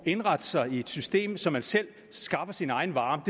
indrette sig i et system så man selv skaffer sin egen varme